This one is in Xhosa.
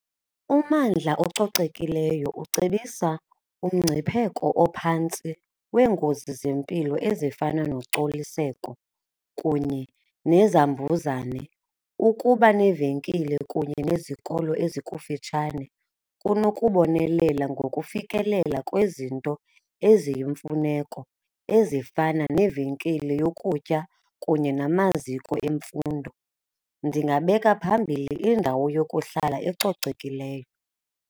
Ummandla ococekileyo ucebisa umngcipheko ophantsi weengozi zempilo ezifana nocoliseko kunye nezambuzane. Ukuba neevenkile kunye nezikolo ezikufitshane kunokubonelela ngokufikelela kwezinto eziyimfuneko ezifana neevenkile yokutya kunye namaziko emfundo, ndingabeka phambili indawo yokuhlala ecocekileyo.